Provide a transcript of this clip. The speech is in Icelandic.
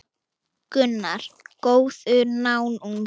Gunnar: Góður náungi?